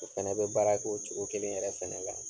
O fana bɛ baara kɛ o cogo kelen yɛrɛ fana kan.